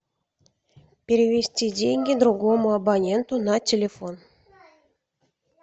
перевести деньги другому абоненту на телефон